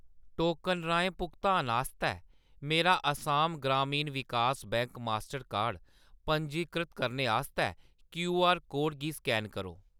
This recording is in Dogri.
टोकन राहें भुगतान आस्तै मेरा Assam Gramin Vikas bank Mastercard card पंजीकृत करने आस्तै क्यूआर कोड गी स्कैन करो।